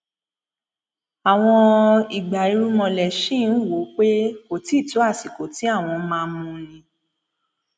àwọn ìgbà ìrúnmalẹ ṣì ń wò ó pé kò tí ì tó àsìkò tí àwọn máa mú un ni